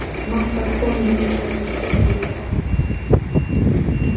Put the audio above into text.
Magga kom í heimsókn með Dúllu í barnavagninum.